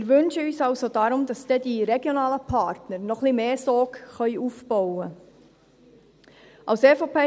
Wir wünschen uns deshalb also, dass die regionalen Partner noch ein wenig mehr Sog aufbauen können.